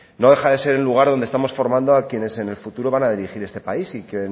no deja de ser el lugar donde estamos formando a quienes en el futuro van a dirigir este país y que